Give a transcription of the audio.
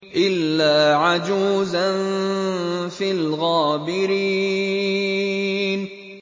إِلَّا عَجُوزًا فِي الْغَابِرِينَ